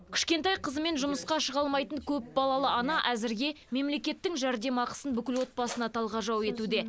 кішкентай қызымен жұмысқа шыға алмайтын көпбалалы ана әзірге мемлекеттің жәрдемақысын бүкіл отбасына талғажау етуде